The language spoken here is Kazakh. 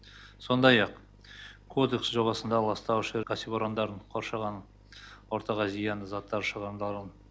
сондай ақ кодекс жобасында ластаушы кәсіпорындарын қоршаған ортаға зиянды заттар шығындарын